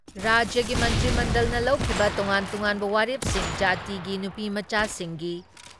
ꯔꯥꯖ꯭ꯌꯒꯤ ꯃꯟꯇ꯭ꯔꯤ ꯃꯟꯗꯜꯅ ꯂꯧꯈꯤꯕ ꯇꯣꯉꯥꯟ ꯇꯣꯉꯥꯟꯕ ꯋꯥꯔꯦꯞꯁꯤꯡ, ꯖꯥꯇꯤꯒꯤ ꯅꯨꯄꯤꯃꯆꯥꯁꯤꯡꯒꯤ